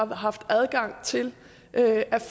har haft adgang til at